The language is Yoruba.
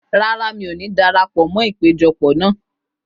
Rárá, mi ò ní darapọ̀ mọ́ ìpéjọpọ̀ náà.